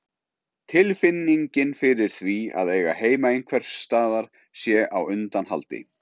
Tilfinningin fyrir því að eiga heima einhvers staðar sé á undanhaldi.